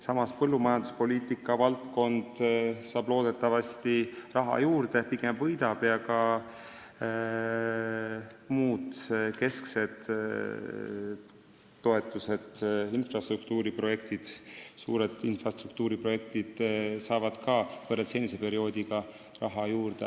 Samas põllumajanduspoliitika valdkond pigem võidab, saab loodetavasti raha juurde ja ka muud kesksed toetused, suured infrastruktuuriprojektid, saavad võrreldes senise perioodiga raha juurde.